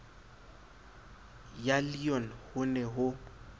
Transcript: ya leon ho ne ho